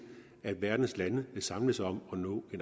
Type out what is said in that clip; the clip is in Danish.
at verdens lande vil samles om